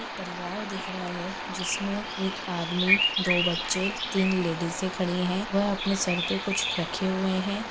परिवार दिख रहा है जिसमे एक आदमी दो बच्चे तीन लेडीजे खड़ी है वह अपने सर पे कुछ रखे हुए है।